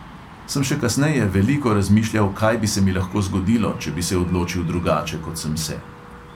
Sem še kasneje veliko razmišljal, kaj bi se mi lahko zgodilo, če bi se odločil drugače, kot sem se.